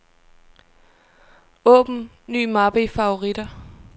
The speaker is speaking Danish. Åbn ny mappe i favoritter.